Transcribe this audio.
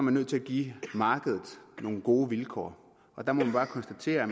er nødt til at give markedet nogle gode vilkår der må vi bare konstatere